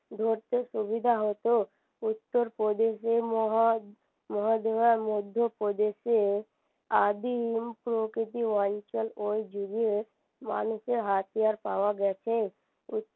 ধরতে সুবিধা হত উত্তরপ্রদেশে আর মধ্যপ্রদেশে আদিম প্রকৃতি অঞ্চল ওই যুগে মানুষের হাতিয়ার পাওয়া গেছে